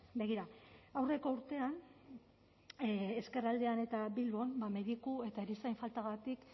begira aurreko urtean ezkerraldean eta bilbon mediku eta erizain faltagatik